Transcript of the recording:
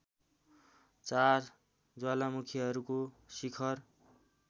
चार ज्वालामुखीहरूको शिखर